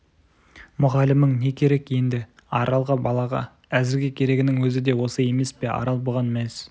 мүғалімің не керек енді аралға балаға әзірге керегінің өзі де осы емес пе арал бұған мәз